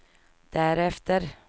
därefter